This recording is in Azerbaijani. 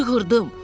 Çığırdım.